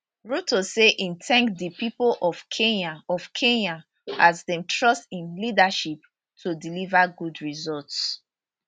ruto say im thank di pipo of kenya of kenya as dem trust im leadership to deliver good results